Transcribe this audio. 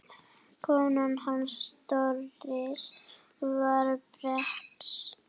Kona hans Doris var bresk.